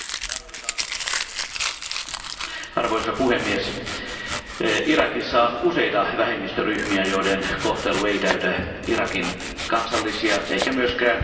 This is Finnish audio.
Arvoisa puhemies, Irakissa on useita vähemmistöryhmiä, joiden kohtelu ei täytä Irakin kansallisia eikä myöskään kansainvälisiä sitoumuksia ja tavoitteita.